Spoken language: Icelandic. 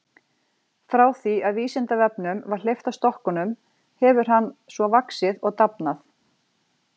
Frá því að Vísindavefnum var hleypt af stokkunum hefur hann svo vaxið og dafnað.